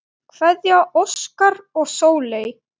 Kveðja, Óskar og Sóley.